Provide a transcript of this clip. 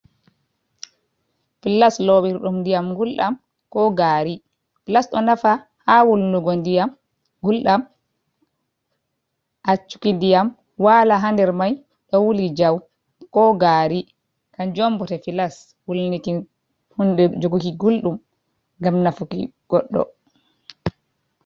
Flas lowirɗum ndiyam gulɗam ko gari. Flas ɗo nafa ha wulnugo ndiyam gulɗam, accuki ndiyam wala ha nder mai ɗo wuli jau ko gari. Kanjum on bote flas wulnirɗum nde joguki gulɗum ngam nafuki goɗɗo.